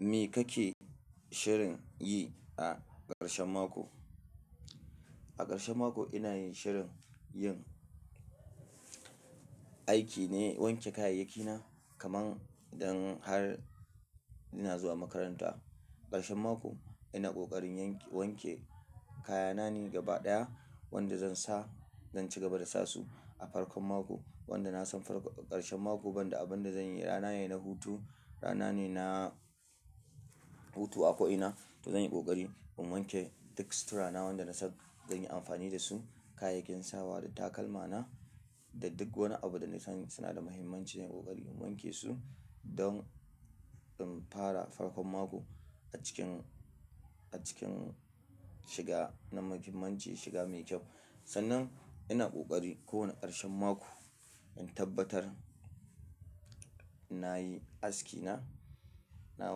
Me kake shirin yi a ƙarshen mako? A ƙarshen mako ina yin shirin yin aiki ne, wanke kayayyaki na kaman dan har ina zuwa makaranta. Ƙarshen mako ina ƙoƙarin wanke kayana ne gaba ɗaya wanda zan sa zan cigaba da sasu a farkon mako. Wanda na san ƙarshen mako banda abunda zanyi rana ne na hutu, rana ne na hutu a ko ina to zan yi ƙoƙari in wanke duk sutura na wanda nasan zanyi amfani dasu, kayakin sawa da takalmana da duk wani abu da nasan suna da muhimmanci na yi ƙoƙari in wanke su don in fara farkon mako a cikin, a cikin shiga na mahimanci shiga mai kyau. Sannan ina ƙoƙari kowane ƙarshen mako in tabbatar nayi aski na, na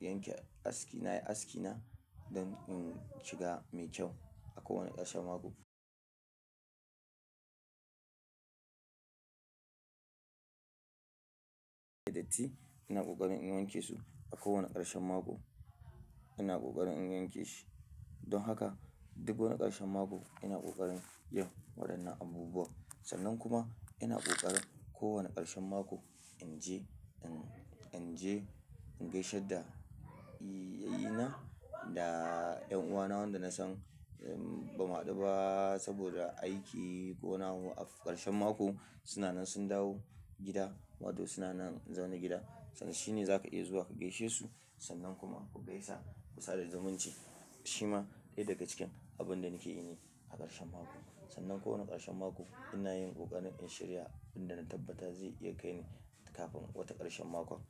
yanke aski, nayi aski na don in shiga mai kyau a kowane ƙarshen mako. Da datti ina ƙoƙarin in wanke su a kowane ƙarshen mako ina ƙoƙarin in yanke shi. Don haka duk wani ƙarshen mako ina ƙoƙarin yin waɗannan abubuwan. Sannan kuma ina ƙoƙarin kowane ƙarshen mako inje inje in gaishe da yayyi na yan uwana wanda nasan bamu haɗu ba saboda aiki ko na waƙar ƙarshen mako. Suna nan sun dawo gida wato suna nan zaune gida sannan shine zaka iya zuwa ka gaishe su sannan kuma ku gaisa kusa da zumunci. Shi ma ɗaya daga cikin abun da nake ini a ƙarshen mako. Sannan kowane ƙarshen mako ina yin ƙoƙarin in shirya abin da na tabbata zai iya kai ni kafin wata ƙarshen mako.